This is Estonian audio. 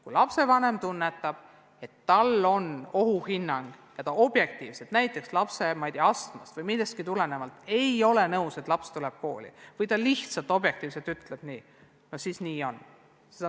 Kui lapsevanem tunnetab ohtu ja ta objektiivselt, näiteks lapse astmast või millestki muust tulenevalt, ei ole nõus, et laps läheb kooli, siis nii on.